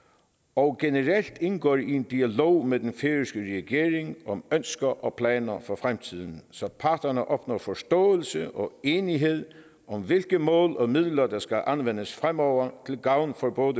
og generelt indgår i en dialog med den færøske regering om ønsker og planer for fremtiden så parterne opnår forståelse og enighed om hvilke mål og midler der skal anvendes fremover til gavn for både